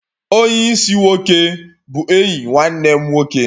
Onye isi-nwoke bụ enyi nwanne m nwoke